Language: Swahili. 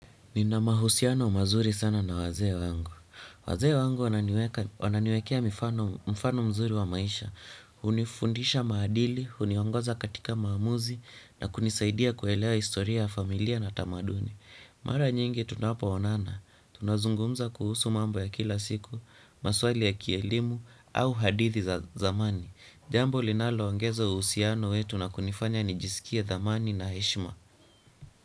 Nina mahusiano mazuri sana na wazee wangu. Wazee wangu wananiweka wananiwekea mifano mfano mzuri wa maisha. Hunifundisha maadili, huniongoza katika maamuzi, na kunisaidia kuelewa historia ya familia na tamaduni. Mara nyingi tunapoonana. Tunazungumza kuhusu mambo ya kila siku, maswali ya kielimu, au hadithi za zamani. Jambo linalo ongeza uhusiano wetu na kunifanya nijisikie thamani na heshima.